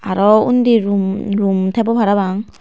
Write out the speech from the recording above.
aro unni rum rum tebo parapang.